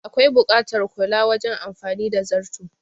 Akwai buƙatar kula wajen amfani da zarto